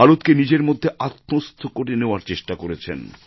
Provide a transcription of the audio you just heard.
ভারতকে নিজের মধ্যে আত্মস্থ করে নেওয়ার চেষ্টা করেছেন